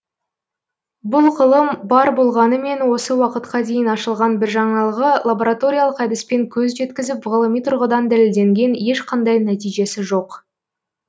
бұл ғылым бар болғанымен осы уақытқа дейін ашылған бір жаңалығы лабораториялық әдіспен көз жеткізіп ғылыми тұрғыдан дәлелденген ешқандай нәтижесі жоқ